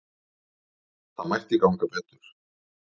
Það mætti ganga betur.